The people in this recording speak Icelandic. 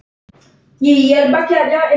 Hún var kát.